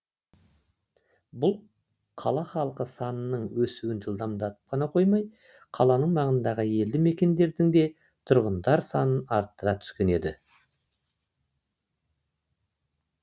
бұл қала халқы санының өсуін жылдамдатып қана қоймай қала маңындағы елді мекендердің де тұрғындар санын арттыра түскен еді